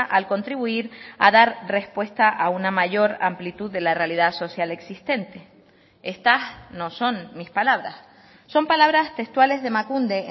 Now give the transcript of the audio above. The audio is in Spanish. al contribuir a dar respuesta a una mayor amplitud de la realidad social existente estas no son mis palabras son palabras textuales de emakunde